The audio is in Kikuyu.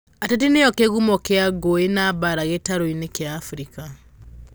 ateti nĩo kĩgumo kĩa ngũĩ na mbara gĩtarũinĩ kĩa Africa